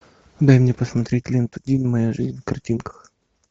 дай мне посмотреть ленту дин моя жизнь в картинках